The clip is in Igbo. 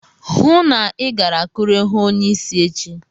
Hụụ na Ị gara Akure hụụ onyeisi echi!